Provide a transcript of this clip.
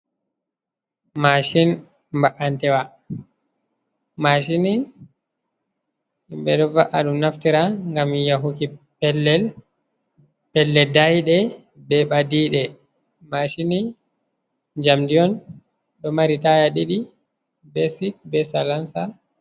Mashin ba’antewa, mashin ni ɓeɗo va'aɗum naftira ngam mi yahuki pellel daiɗe be ɓadiɗe mashini jamdi on ɗo mari taya ɗiɗi, be sit, be salansa.